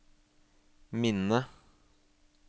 minne